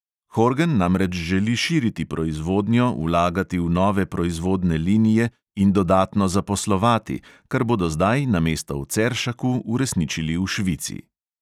Horgen namreč želi širiti proizvodnjo, vlagati v nove proizvodne linije in dodatno zaposlovati, kar bodo zdaj namesto v ceršaku uresničili v švici.